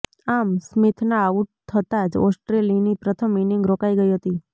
આમ સ્મિથના આઉટ થતા જ ઓસ્ટ્રેલીની પ્રથમ ઇનીંગ રોકાઇ ગઇ હતી